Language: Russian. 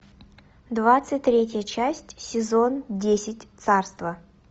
двадцать третья часть сезон десять царство